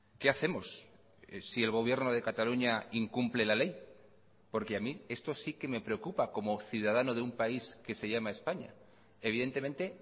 qué hacemos si el gobierno de cataluña incumple la ley porque a mí esto sí que me preocupa como ciudadano de un país que se llama españa evidentemente